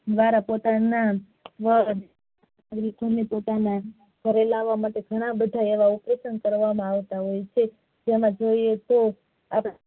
દ્વારા પોતાના ઘરે લાવા માટે એવા ઘણા બધા operation કરવા માં આવતા હોઈયે છે જેમાં કહીયે તો